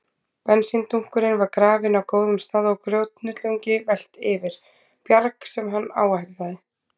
Bensíndunkurinn var grafinn á góðum stað og grjóthnullungi velt yfir, bjarg sem hann áætlaði